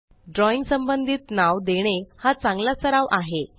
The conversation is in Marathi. ड्रॉइंग संबंधित नाव देणे हा चांगला सराव आहे